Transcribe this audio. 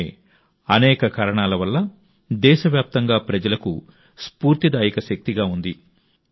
ఆమె అనేక కారణాల వల్ల దేశవ్యాప్తంగా ప్రజలకు స్ఫూర్తిదాయక శక్తిగా ఉంది